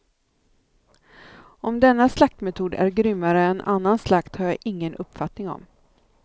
Om denna slaktmetod är grymmare än annan slakt har jag ingen uppfattning om.